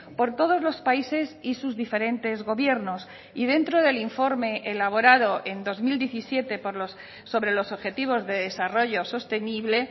por todos los países y sus diferentes gobiernos y dentro del informe elaborado en dos mil diecisiete sobre los objetivos de desarrollo sostenible